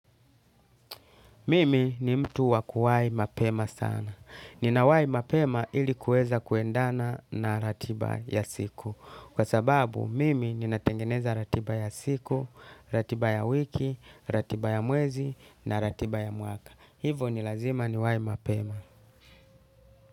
Mimi ni mtu wa kuwahi mapema sana. Nina wahi mapema ili kuweza kuendana na ratiba ya siku. Kwa sababu, mimi ninatengeneza ratiba ya siku, ratiba ya wiki, ratiba ya mwezi na ratiba ya mwaka. Hivyo ni lazima niwahi mapema.